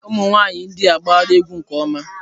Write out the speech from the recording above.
Ụmụ nwanyị India agbara egwu nke ọma.